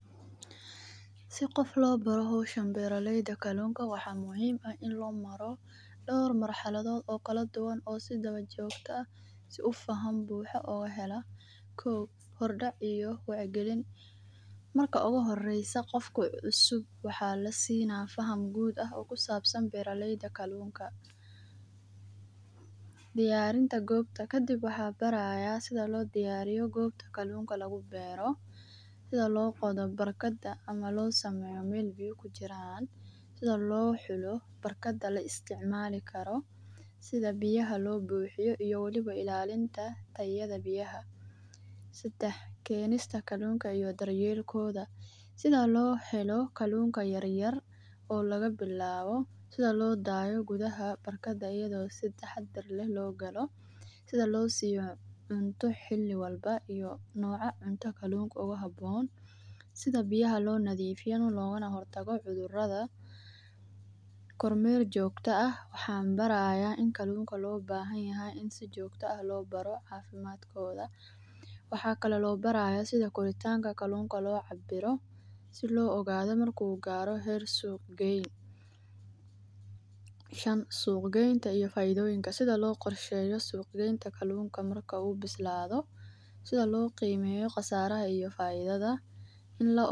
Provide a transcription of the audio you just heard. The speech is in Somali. Si gof lobato howshaan beraleyda kalunka waxa muxiim ah in lomaro dor marhaladod oo kaladuwan oo si jogto ah si ufaham buha ogahela, kow hor dac iyo firigalin, marka oguhoreysa gofka cusub waxa lasinaa faham guud ah oo kusabsan beraleyda kalunka, diyarinta goobta kafib waxan baraya gobta kalunka lagubero, sidha logodo barlada ama loo sameyo wal biyo kujiraan, sidha lohulo barkada laisticmalikaro, sidha biyaha lobuhiyo iyo waliba ilalinta tayada biyaha, sadax kenista kalunka iyo daryelkoda, sida lohelo kalunka yaryar oo lagabilabo, sida lodayo gudaha batkada iyado si tahadar leh logalo, sidha losiya cunta hili walba iyo noca cunta kalun oguhaboon, sidha biyaha lonafifiyo logana hortago cudurada, kormel jogta ah waxan baraya in kalunka lobahanyahay in kalunka si jogto ah lobaro cafimadkoda, waxa kalo labaraya si koritanka kalunka locabiro, si loogado marko garoo heer suq qeyn, shaan suq geynta iyo faidoyinka , sidha loqorsheyo suq qeynta marka uu bislado, sidha logimeyo qasaraha iyo faidada.